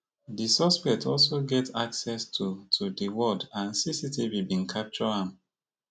di suspect also get access to to di ward and cctv bin capture am